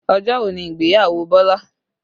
Ọjọ́ wo ni ìgbéyàwó Bọlá?